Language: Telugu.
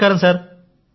నమస్కారం సార్